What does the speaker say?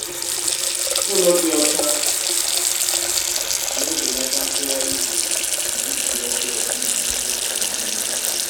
Ụlọ dị ocha na-ebelata nfegharị ijiji na isi ọjọọ si na nsị ụmụ anụmanụ